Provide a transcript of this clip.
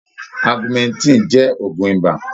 Augmentin jẹ́ ògun ibà.